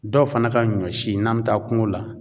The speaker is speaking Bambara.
Dɔw fana ka ɲɔ si n'an bɛ taa kuŋo la